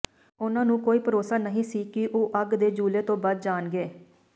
ਉਨ੍ਹਾਂ ਨੂੰ ਕੋਈ ਭਰੋਸਾ ਨਹੀਂ ਸੀ ਕਿ ਉਹ ਅੱਗ ਦੇ ਜੂਲੇ ਤੋਂ ਬਚ ਜਾਣਗੇ